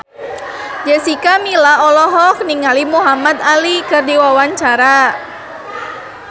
Jessica Milla olohok ningali Muhamad Ali keur diwawancara